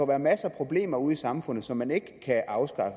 være masser af problemer ude i samfundet som man ikke kan afskaffe